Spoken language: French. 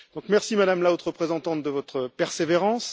Merci, Madame la haute représentante, de votre persévérance.